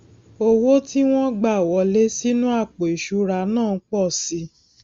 owó tí wón gbà wọlé sínú àpò ìṣura náà n po si i i